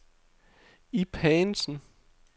Ib Haagensen